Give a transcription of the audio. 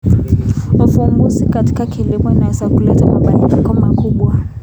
Uvumbuzi katika kilimo unaweza kuleta mabadiliko makubwa.